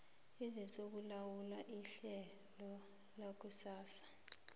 esizokulawula ihlelo lakusasa